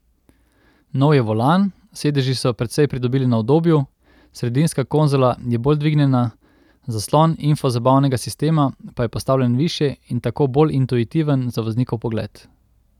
Nov je volan, sedeži so precej pridobili na udobju, sredinska konzola je bolj dvignjena, zaslon infozabavnega sistema pa je postavljen višje in tako bolj intuitiven za voznikov pogled.